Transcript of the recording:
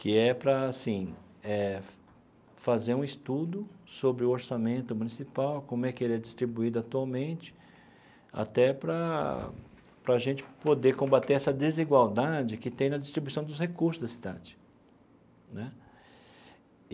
que é para assim eh fazer um estudo sobre o orçamento municipal, como é que ele é distribuído atualmente, até para para a gente poder combater essa desigualdade que tem na distribuição dos recursos da cidade né.